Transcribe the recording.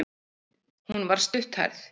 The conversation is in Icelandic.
Hún var stutthærð.